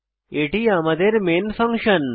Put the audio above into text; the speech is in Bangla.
এটি আমাদের মেন ফাংশন